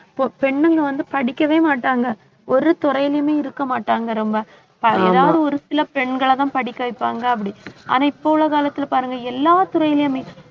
பொ~ பெண்ணுங்க வந்து படிக்கவே மாட்டாங்க ஒரு துறையிலுமே இருக்க மாட்டாங்க ரொம்ப. ஏதாவது ஒரு சில பெண்களை தான் படிக்க வைப்பாங்க அப்படி. ஆனா, இப்ப உள்ள காலத்துல பாருங்க எல்லா துறையிலுமே